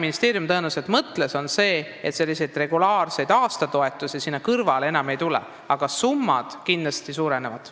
Ministeerium tõenäoliselt mõtles seda, et regulaarseid aastatoetusi sinna kõrvale enam ei tule, aga summad kindlasti suurenevad.